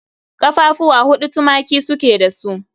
Ƙafafuwa huɗu tumaki su ke da su